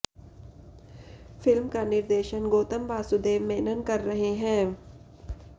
film का निर्देशन गौतम वासुदेव मेनन कर रहे हैं